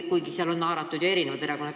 Kuigi sinna on ju haaratud erinevad erakonnad.